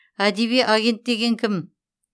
әдеби агент деген кім